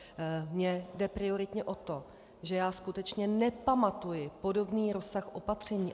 Mně jde prioritně o to, že já skutečně nepamatuji podobný rozsah opatření.